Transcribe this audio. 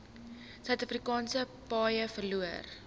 suidafrikaanse paaie verloor